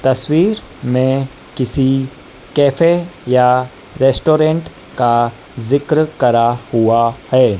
तस्वीर में किसी कैफे या रेस्टोरेंट का जिक्र करा हुआ है।